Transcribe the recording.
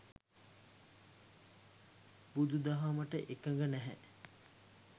බුදු දහමට එකඟ නැහැ.